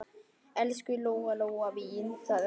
Elsku Lóa-Lóa mín, sagði mamma.